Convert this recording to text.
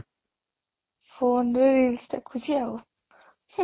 phone ରେ reels ଦେଖୁଚି ଆଉ ହୁଁ